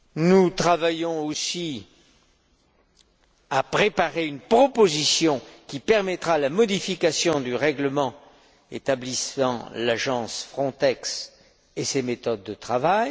Nous sommes aussi occupés à préparer une proposition qui permettra la modification du règlement établissant l'agence Frontex et ses méthodes de travail.